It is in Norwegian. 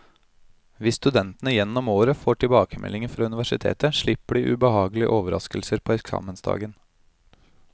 Hvis studentene gjennom året får tilbakemeldinger fra universitetet, slipper de ubehagelige overrasker på eksamensdagen.